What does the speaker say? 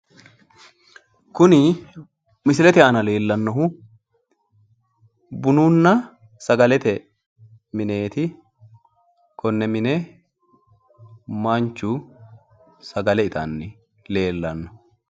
Kuni misilete aana leellannohu bununna sagalete mineeti. Konne mine manchu sagale itanni leellanno.